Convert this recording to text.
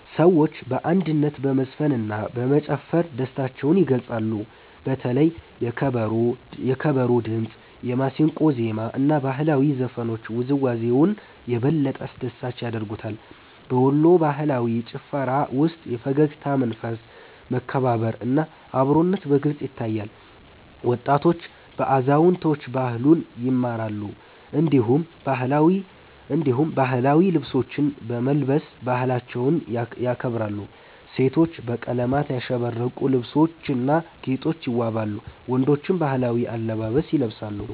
ሰዎች በአንድነት በመዝፈንና በመጨፈር ደስታቸውን ይገልጻሉ። በተለይ የከበሮ ድምጽ፣ የማሲንቆ ዜማ እና ባህላዊ ዘፈኖች ውዝዋዜውን የበለጠ አስደሳች ያደርጉታል። በወሎ ባህላዊ ጭፈራ ውስጥ የፈገግታ መንፈስ፣ መከባበር እና አብሮነት በግልጽ ይታያል። ወጣቶች ከአዛውንቶች ባህሉን ይማራሉ፣ እንዲሁም ባህላዊ ልብሶችን በመልበስ ባህላቸውን ያከብራሉ። ሴቶች በቀለማት ያሸበረቁ ልብሶችና ጌጦች ይዋበዋሉ፣ ወንዶችም ባህላዊ አለባበስ ይለብሳሉ።